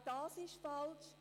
Auch das ist falsch.